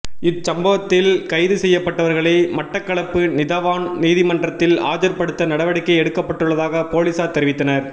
இச் சம்பத்தில் கைது செய்யப்பட்டவர்களை மட்டக்களப்பு நீதவான் நீதிமன்றத்தில் ஆஜர்படுத்த நடவடிக்கை எடுக்கப்பட்டுள்ளதாக பொலிஸார் தெரிவித்தனர்